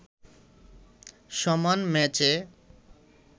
সমান ম্যাচে